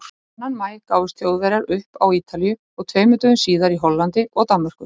Annan maí gáfust Þjóðverjar upp á Ítalíu og tveimur dögum síðar í Hollandi og Danmörku.